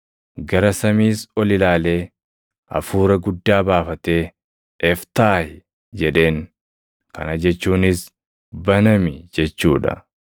Gara samiis ol ilaalee, hafuura guddaa baafatee, \+wj “Eftaah!”\+wj* jedheen; kana jechuunis “Banami!” jechuu dha.